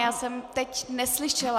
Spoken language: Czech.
Já jsem teď neslyšela.